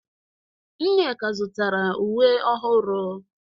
Nneka zụtara uwe ọhụrụ.